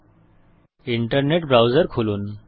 আপনার internet browser খুলুন